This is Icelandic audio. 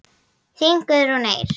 Þín Guðrún Eir.